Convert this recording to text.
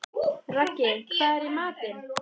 Raggi, hvað er í matinn?